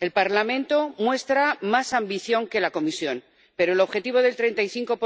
El Parlamento muestra más ambición que la Comisión, pero el objetivo del 35